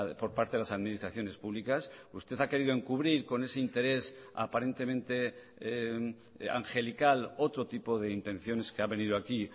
por parte de las administraciones públicas usted ha querido encubrir con ese interés aparentemente angelical otro tipo de intenciones que ha venido aquí